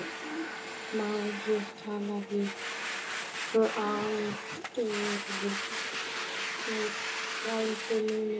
Má ég tala við Baldur frænda núna?